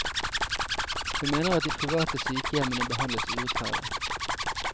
Hun mener at de private sykehjemmene behandles urettferdig.